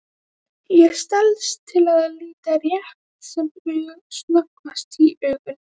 Ég stelst til að líta rétt sem snöggvast í augun.